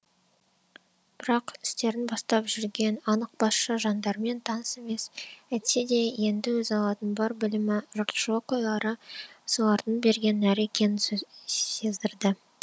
бірақ істерін бастап жүрген анық басшы жандармен таныс емес әйтсе де енді өзі алатын бар білімі жұртшылық ойлары солардың берген нәрі екенін сездірді